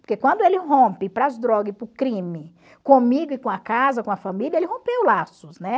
Porque quando ele rompe para as drogas e para o crime, comigo e com a casa, com a família, ele rompeu laços, né?